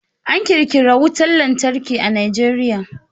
An ƙirƙira wutan lantarki a Najeriya.